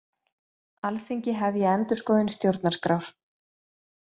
Alþingi hefji endurskoðun stjórnarskrár